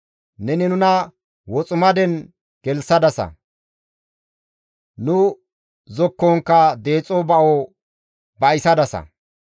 Neni nuna woximaden gelththadasa; Nu zokkonkka deexo ba7o ba7isadasa.